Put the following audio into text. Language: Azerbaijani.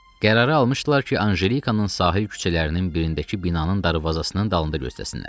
Qərarı almışdılar ki, Anjelikanın sahil küçələrinin birindəki binanın darvazasının dalında gözləsinlər.